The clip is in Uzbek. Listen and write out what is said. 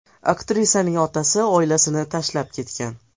Aktrisaning otasi oilasini tashlab ketgan.